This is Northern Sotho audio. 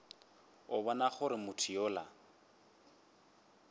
a bona gore motho yola